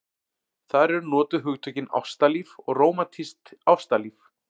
Þar eru notuð hugtökin ástalíf og rómantískt ástalíf.